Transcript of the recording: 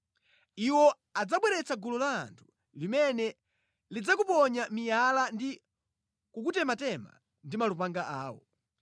Iwo adzabweretsa gulu la anthu limene lidzakuponya miyala ndi kukutematema ndi malupanga awo.